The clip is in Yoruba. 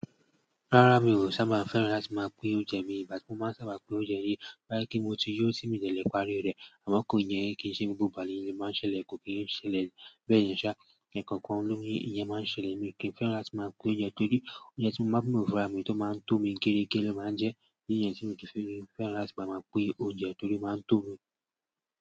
Rárá mi ò sábà fẹ́ràn láti máa pín oúnjẹ mi, ìbá ti mo máa n sábà pín oúnjẹ nìí, tó bá pé mo ti yóò ti mi ò dẹ̀lé parí rẹ̀, àmọ́ kó yẹ kí i ṣe gbogbo ìgbà lèyí máa ń ṣẹlẹ̀, kò kí n ṣẹlẹ̀ bẹ́ẹ̀ yẹn ṣá, èkòkan lóyún nìyẹn máa ń ṣẹlẹ̀ mi ò kì n fẹ́ràn láti máa pín oúnjẹ torí oúnjẹ tí mo máa n bù fúnra mi tó máa ń tó mi géregé lo máa ń jẹ́, mi ò dè kì n fẹ́ràn láti máa máa pín oúnjẹ torí ó máa ń tó mi.